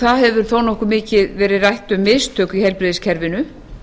það hefur þó nokkuð mikið verið rætt um mistök í heilbrigðiskerfinu